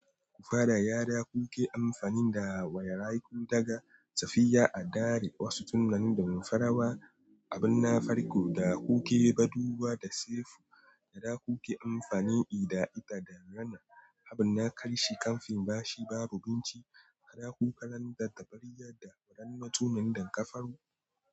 Ku fara yara kuke amfani da wayaraku daga safiya a dare wasu tunganin da mun farawa. Abin na farko da kuke badu bawa da sef yara kuke amfani da ita da da wana. Abin na karshe kamfin bashi babu binci. Kara ku karanta tabarya da wurin datunan dan kafaru.